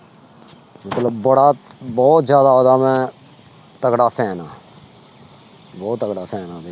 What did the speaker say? ਮਤਲਬ ਬੜਾ ਬਹੁਤ ਜ਼ਿਆਦਾ ਉਹਦਾ ਮੈਂ ਤਕੜਾ fan ਹਾਂ ਬਹੁਤ ਤਕੜਾ fan ਹਾਂ।